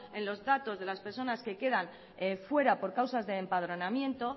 en los datos de las personas que quedan fuera por causas de empadronamiento